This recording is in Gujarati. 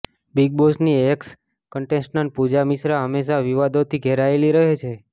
બિગ બોસની એક્સ કન્ટેસ્ટન્ટ પૂજા મિશ્રા હંમેશા વિવાદ ોથી ધેરાયેલી રહે છે